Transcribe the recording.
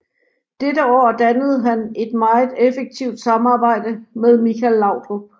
Dette år dannede han et meget effektivt samarbejde med Michael Laudrup